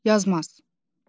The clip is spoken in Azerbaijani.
Yazmaz.